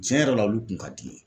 Tiɲɛ yɛrɛ la olu kun ka di n ye